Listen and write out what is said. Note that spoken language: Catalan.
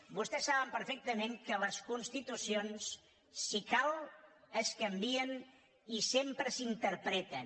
vostès saben perfectament que les constitucions si cal es canvien i sempre s’interpreten